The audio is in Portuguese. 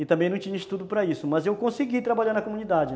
E também não tinha estudo para isso, mas eu consegui trabalhar na comunidade.